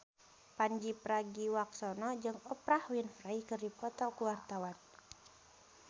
Pandji Pragiwaksono jeung Oprah Winfrey keur dipoto ku wartawan